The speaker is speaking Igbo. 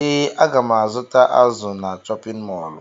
Ee, aga m azụta azụ na chọpịn mọọlụ.